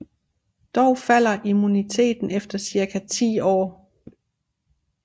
Dog falder immuniteten efter cirka ti år